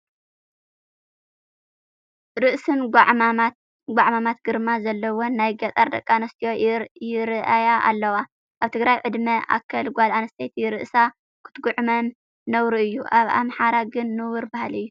ርእሰን ጓዕማማት ግርማ ዘለወን ናይ ገጠር ደቂ ኣንስትዮ ይርአያ ኣለዋ፡፡ ኣብ ትግራይ ዕድመ ኣከል ጓል ኣንስተይቲ ርእሳ ክትጉዕመም ነውሪ እዩ፡፡ ኣብ ኣምሓራ ግን ንቡር ባህሊ እዩ፡፡